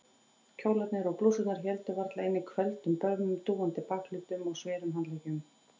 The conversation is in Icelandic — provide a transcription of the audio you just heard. Kjólarnir og blússurnar héldu varla inni hvelfdum börmum, dúandi bakhlutum og sverum handleggjum.